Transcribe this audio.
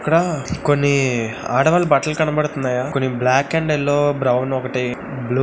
ఇక్కడ కొన్ని ఆడవాళ్ళ బట్టలు కనబడుతున్నాయ కొన్ని బ్లాక్ అండ్ యెల్లో బ్రౌన్ ఒకటి--